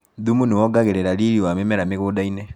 Thumu nĩwongagĩrĩra riri wa mĩmera mĩgundainĩ.